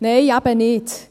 – Nein, eben nicht.